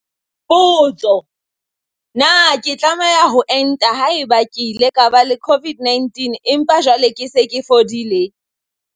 Potso- Na ke tlameha ho enta haeba ke ile ka ba le COVID-19 empa jwale ke se ke fodile?